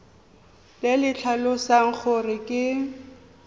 le le tlhalosang gore ke